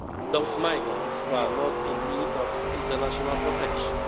those migrants who are not in need of international protection.